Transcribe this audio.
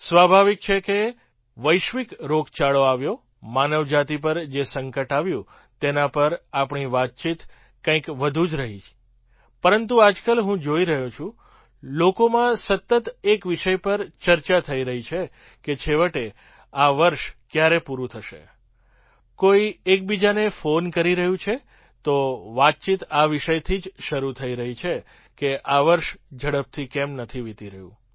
સ્વાભાવિક છે કે જે વૈશ્વિક રોગચાળો આવ્યો માનવ જાતિ પર જે સંકટ આવ્યું તેના પર આપણી વાતચીત કંઈક વધુ જ રહી પરંતુ આજકાલ હું જોઈ રહ્યો છું લોકોમાં સતત એક વિષય પર ચર્ચા થઈ રહી છે કે છેવટે આ વર્ષ ક્યારે પૂરું થશે કોઈ બીજાને ફૉન કરી રહ્યું છે તો વાતચીત આ વિષયથી જ શરૂ થઈ રહી છે કે આ વર્ષ ઝડપથી કેમ નથી વિતી રહ્યું